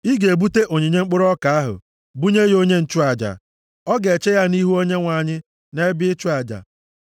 Ị ga-ebute onyinye mkpụrụ ọka ahụ bunye ya onye nchụaja. Ọ ga-eche ya nʼihu Onyenwe anyị nʼebe ịchụ aja.